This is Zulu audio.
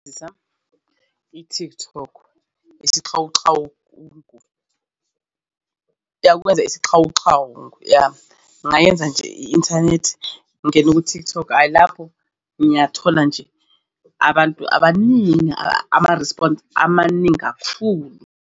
I-TikTok isixawuxawu iyakwenza isixawuxawu yah ngingayenza nje i-inthanethi ngingene ku-TikTok hhayi lapho ngiyathola nje abantu abaningi ama-response amaningi kakhulu.